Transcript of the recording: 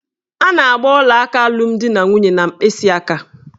A na-agba ọlaaka alụmdinanwunye n'mkpịsịaka.